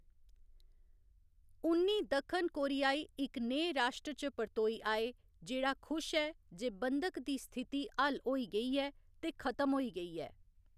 उन्नी दक्खन कोरियाई इक नेह् राश्ट्र च परतोई आए जेह्‌‌ड़ा खुश ऐ जे बंधक दी स्थिति हल होई गेई ऐ ते खत्म होई गेई ऐ।